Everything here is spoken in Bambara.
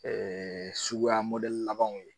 sugukuya labanw ye.